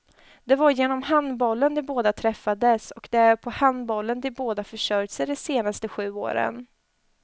Det var genom handbollen de båda träffades, och det är på handbollen de båda försörjt sig de senaste sju åren.